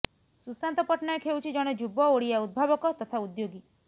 ସୁଶାନ୍ତ ପଟ୍ଟନାୟକ ହେଉଛି ଜଣେ ଯୁବ ଓଡ଼ିଆ ଉଦ୍ଭାବକ ତଥା ଉଦ୍ୟୋଗୀ